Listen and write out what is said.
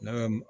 Ne bɛ